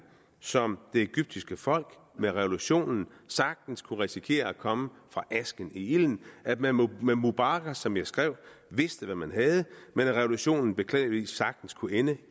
som det egyptiske folk med revolutionen sagtens kunne risikere at komme fra asken i ilden at man med mubarak som jeg skrev vidste hvad man havde men at revolutionen beklageligvis sagtens kunne ende